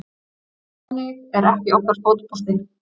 Þannig er ekki okkar fótbolti